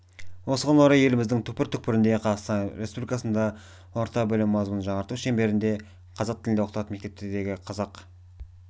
осыған орай еліміздің түкпір-түкпірінде қазақстан республикасында орта білім мазмұнын жаңарту шеңберінде қазақ тілінде оқытатын мектептердегі қазақ